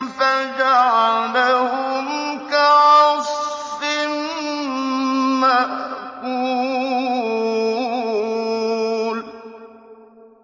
فَجَعَلَهُمْ كَعَصْفٍ مَّأْكُولٍ